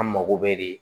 An mago bɛ de